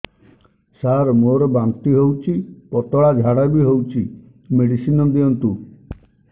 ସାର ମୋର ବାନ୍ତି ହଉଚି ପତଲା ଝାଡା ବି ହଉଚି ମେଡିସିନ ଦିଅନ୍ତୁ